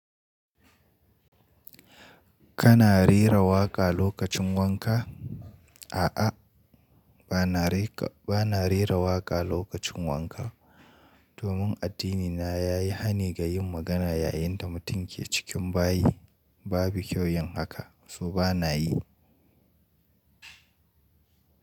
Kana rera waƙa lokacin wanka? A'a, ba na reka, ba na rera waƙa lokacin wanka. Domin addinina ya yi hani ga yin magana yayin da mutum ke cikin bayi. Babi kyau yin haka, so ba na yi.